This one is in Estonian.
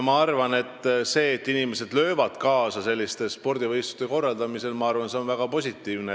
Minu arvates see, et inimesed löövad kaasa selliste spordivõistluste korraldamisel, on väga positiivne.